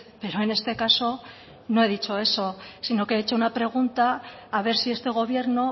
pero en este caso no he dicho eso sino que he hecho una pregunta a ver si este gobierno